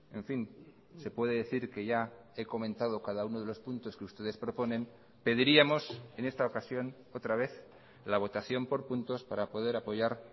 en fin se puede decir que ya he comentado cada uno de los puntos que ustedes proponen pediríamos en esta ocasión otra vez la votación por puntos para poder apoyar